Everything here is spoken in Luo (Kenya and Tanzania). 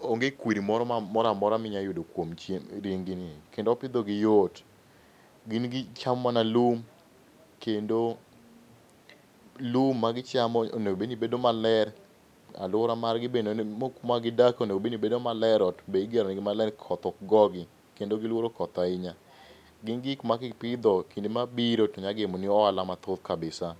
onge kwiri moro amora minyalo yudo kuom ring gini kendo pidhogi yot. Gin gichamo mana lum kendo lum magichamo onego bed nibedo maler. Aluora margi be kuma gidakie onego obed ni bedo maler, ot be igero negi maler koth ok gogi kendo giluoro koth ahinya. Gin gik maka ipidho e kinde mabiro to nya gemo ni ohala mathoth kabisa, pause.